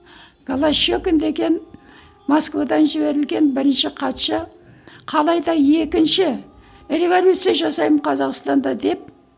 голощёкин деген москвадан жіберілген бірінші хатшы қалайда екінші революция жасаймын қазақстанда деп